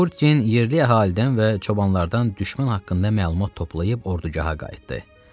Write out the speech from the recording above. Tiburtin yerli əhalidən və çobanlardan düşmən haqqında məlumat toplayıb ordugaha qayıtdı.